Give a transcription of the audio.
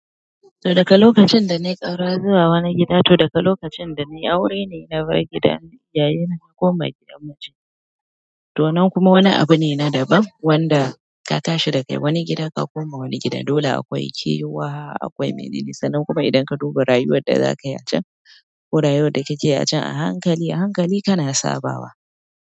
To daka lokacin danayi ƙaura zuwa wani gida, to daga lokacin da nayi aure ne na bar gidan iyayenmu na koma gidan mijina. To nan kuma wani abu ne na daban wanda ka tashi da kai wani gida ka koma wani gida. Dole akwai kewa, akwai manene, sannan kuma idan ka dubi rayuwadda zakayi a can ko rayuwar da kike yi a can a hankali, a hankali kana sabawa.